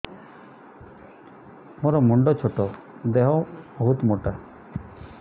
ମୋର ମୁଣ୍ଡ ଛୋଟ ଦେହ ବହୁତ ମୋଟା